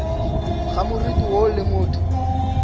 ga moriti woo le motho